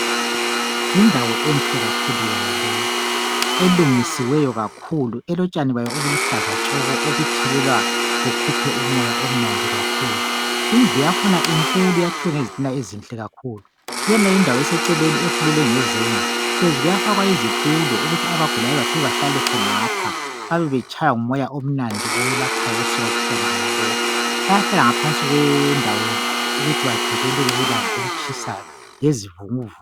Indawo enhle kakhulu yona le elungisiweyo kakhulu elotshani bayo obuluhlaza tshoko obuthelelwa bukhuphe umoya omnandi kakhulu. Indlu yakhona inkulu yakhiwe ngezitina ezinhle kakhulu. Kunale indawo eseceleni efulelwe ngezenge hlezi kuyafakwa izitulo ukuthi abagulayo bafike bahlale khonapha. Babebetshaywa ngumoya omnandi owelaphayo. osuka kutshani bonalobu. Bayahlala ngaphansi kwe ndawo yonale ukuthi bavikeleke kulanga elitshisayo lezivunguvu.